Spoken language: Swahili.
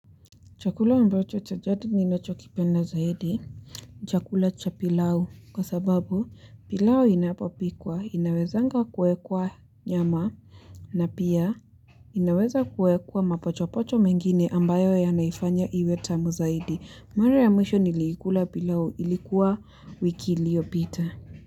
Chakula ambacho cha jadi ninacho kipenda zaidi. Chakula cha pilau kwa sababu pilau inapopikwa, inawezanga kuwekwa nyama na pia inaweza kuwekwa mapochopocho mengine ambayo yanaifanya iwe tamu zaidi. Mara ya mwisho niliikula pilau ilikuwa wiki iliyo pita.